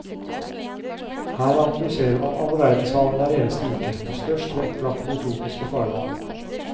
Her analyserer man alle verdenshavene hver eneste uke, med størst vekt lagt på de tropiske farvann.